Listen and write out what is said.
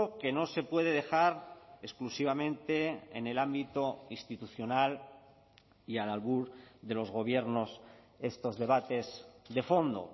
que no se puede dejar exclusivamente en el ámbito institucional y al albur de los gobiernos estos debates de fondo